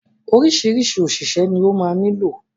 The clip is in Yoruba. Oríṣiríṣi òṣìṣẹ́ ni ó ma nílò.